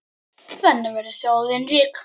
Þannig verður þjóðin rík.